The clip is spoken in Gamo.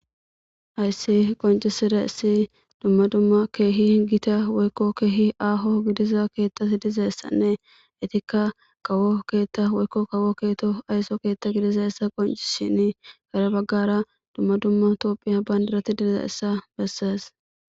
Hayisi qoncisidayisi dumma dumma kehi gita woyikko kehi aho gidiza keeththi dizayisanne etika kawo keeththa woyikko kawo keto ayiso keeththa gidizayisa qoncises dhade bagara dumma dumma tophia bandirati dizayisa beses.